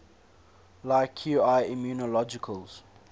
like qi immunologicals